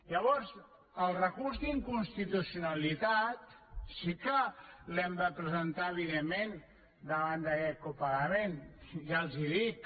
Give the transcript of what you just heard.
llavors el recurs d’inconstitucionalitat sí que l’hem de presentar evidentment davant d’aquest copagament ja els ho dic